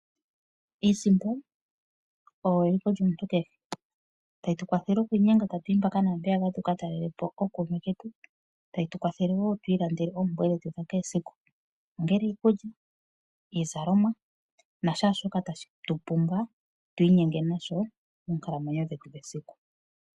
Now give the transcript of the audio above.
Iisimpo oyo eliko lyomuntu kehe tayi tu kwathele okwiinynga tatu yi mpaka naampeyaka tuka talele po ookume ketu ,tayi tu kwathele wo tu lande oompumbwe dhetu dhesiku kehe ongele iikulya ,iikutu nakehe shoka tatu pumbwa tu ikwathe nasho.